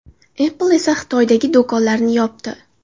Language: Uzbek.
Apple esa Xitoydagi do‘konlarini yopdi .